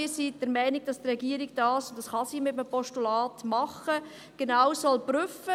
Wir sind der Meinung, dass die Regierung das genau prüfen soll, und das kann sie mit einem Postulat machen.